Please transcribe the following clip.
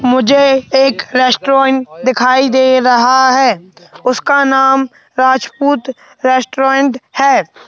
मुझे एक रेस्टोरेंट दिखाई दे रहा है उसका नाम राजपूत रेस्टोरेंट है।